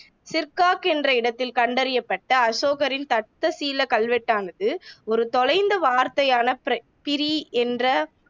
சிர்கப் என்ற இடத்தில் கண்டறியப்பட்ட அசோகரின் தட்சசீலக் கல்வெட்டானது ஒரு தொலைந்த வார்த்தையான ப்ர பிரிய் என்ற